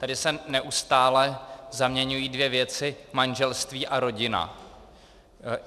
Tady se neustále zaměňují dvě věci - manželství a rodina.